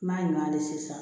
N'a ɲuman de sisan